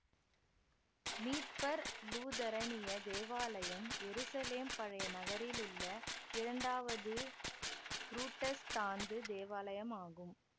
மீட்பர் லூதரனிய தேவாலயம் எருசலேம் பழைய நகரிலுள்ள இரண்டாவது புரட்டஸ்தாந்து தேவாலயமாகும்